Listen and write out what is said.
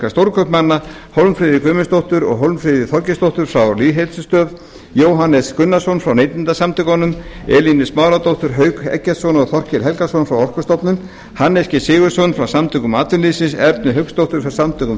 stórkaupmanna hólmfríði guðmundsdóttur og hólmfríði þorgeirsdóttur frá lýðheilsustöð jóhannes gunnarsson frá neytendasamtökunum elínu smáradóttur hauk eggertsson og þorkel helgason frá orkustofnun hannes g sigurðsson frá samtökum atvinnulífsins ernu hauksdóttur frá samtökum